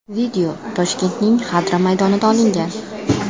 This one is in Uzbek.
Video Toshkentning Xadra maydonida olingan.